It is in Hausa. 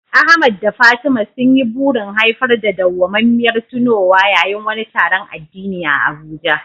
Ahmad da Fatima sun yi burin haifar da dawwamammiyar tunowa yayin wani taron addini a Abuja.